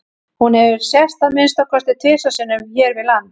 hún hefur sést að minnsta kosti tvisvar sinnum hér við land